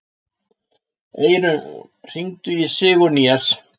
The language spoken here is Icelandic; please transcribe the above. Eirún, hringdu í Sigurnýjas.